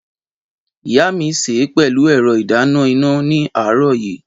Ìyá mi sè é pẹ̀lú ẹ̀rọ ìdáná iná ní àárọ̀ yìí.